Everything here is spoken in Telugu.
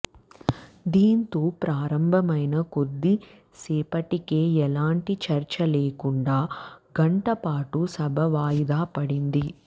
దీంతో ప్రారంభమైన కొద్ది సేపటికే ఎలాంటి చర్చ లేకుండా గంట పాటు సభ వాయిదా పడింది